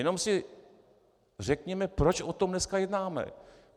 Jen si řekněme, proč o tom dnes jednáme.